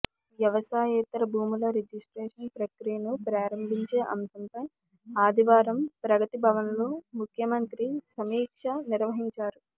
వ్యవసాయేతర భూముల రిజిస్ట్రేషన్ ప్రక్రియను ప్రారంభించే అంశంపై ఆదివారం ప్రగతిభవన్లో ముఖ్యమంత్రి సమీక్ష నిర్వహించారు